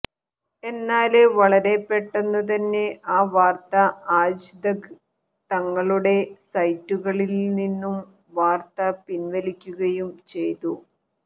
എന്നാല് വളരെ പെട്ടെന്നുതന്നെ ഈ വാര്ത്ത ആജ് തക് തങ്ങളുടെ സൈറ്റുകളില്നിന്നും വാര്ത്ത പിന്വലിക്കുകയും ചെയ്തു